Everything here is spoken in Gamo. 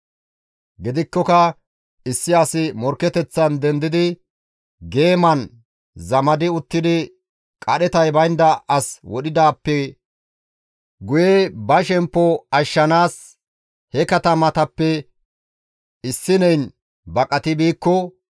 Gidikkoka issi asi morkketeththan dendidi geeman zamadi uttidi qadhetay baynda as wodhidaappe guye ba shemppo ashshanaas he katamatappe issineyn baqati biikko,